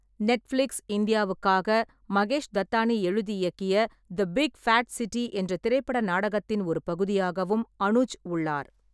Netflix இந்தியாவுக்காக மகேஷ் தத்தானி எழுதி இயக்கிய தி பிக் ஃபேட் சிட்டி என்ற திரைப்பட நாடகத்தின் ஒரு பகுதியாகவும் அனுஜ் உள்ளார்.